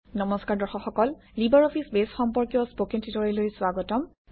নমস্কাৰ দৰ্শক সকল লিবাৰঅফিছ বেছ সম্পৰ্কীয় স্পকেন টিউটৰিয়েললৈ স্বাগতম